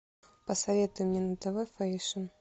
посоветуй мне на тв фэйшн